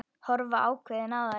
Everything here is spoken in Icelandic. Horfa ákveðin á þær.